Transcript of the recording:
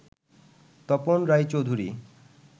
Tapan Roychowdhury